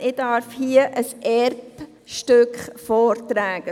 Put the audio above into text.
Ich darf hier sozusagen ein Erbstück vortragen.